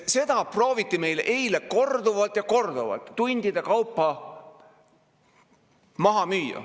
Seda prooviti meile eile korduvalt ja korduvalt, tundide kaupa maha müüa.